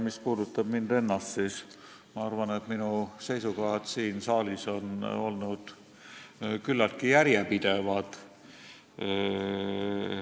Mis puudutab mind ennast, siis ma arvan, et minu seisukohad siin saalis on olnud küllaltki järjepidevad.